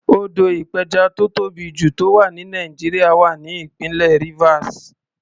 Odò ìpẹjà tó tóbì jù tó wà ní Nàìjíríà wà ní ìpínlẹ̀ Rivers.